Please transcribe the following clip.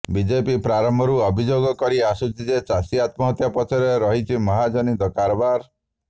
BJP ପ୍ରାରମ୍ଭରୁ ଅଭିଯୋଗ କରି ଆସୁଛି ଯେ ଚାଷୀ ଆତ୍ମହତ୍ୟା ପଛରେ ରହିଛି ମହାଜନୀ କାରବାର